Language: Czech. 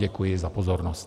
Děkuji za pozornost.